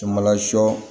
Samala sɔ